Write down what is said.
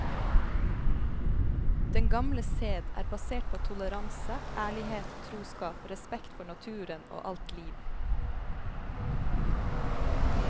Den gamle sed er basert på toleranse, ærlighet, troskap, respekt for naturen og alt liv.